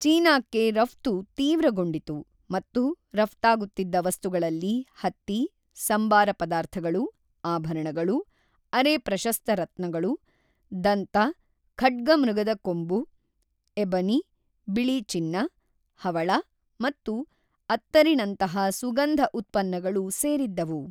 ಚೀನಾಕ್ಕೆ ರಫ್ತು ತೀವ್ರಗೊಂಡಿತು ಮತ್ತು ರಫ್ತಾಗುತ್ತಿದ್ದ ವಸ್ತುಗಳಲ್ಲಿ ಹತ್ತಿ, ಸಂಬಾರ ಪದಾರ್ಥಗಳು, ಆಭರಣಗಳು, ಅರೆ-ಪ್ರಶಸ್ತ ರತ್ನಗಳು, ದಂತ, ಖಡ್ಗಮೃಗದ ಕೊಂಬು, ಎಬನಿ, ಬಿಳಿ ಚಿನ್ನ, ಹವಳ ಮತ್ತು ಅತ್ತರಿನಂತಹ ಸುಗಂಧ ಉತ್ಪನ್ನಗಳು ಸೇರಿದ್ದವು.